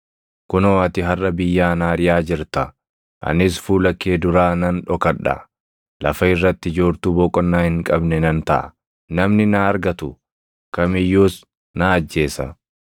Kunoo ati harʼa biyyaa na ariʼaa jirta; anis fuula kee duraa nan dhokadha; lafa irratti joortuu boqonnaa hin qabne nan taʼa; namni na argatu kam iyyuus na ajjeesa.”